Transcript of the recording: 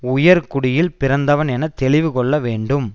உயர்குடியில் பிறந்தவன் என தெளிவு கொள்ள வேண்டும்